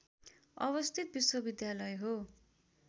अवस्थित विश्वविद्यालय हो